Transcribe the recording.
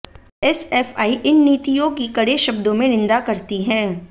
SFI इन नीतियों की कड़े शब्दों में निंदा करती है